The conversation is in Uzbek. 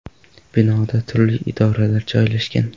Binoda turli idoralar joylashgan.